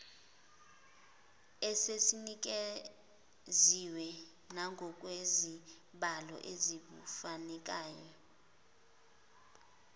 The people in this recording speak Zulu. esisinikeziwe nangokwezibalo ezifunekayo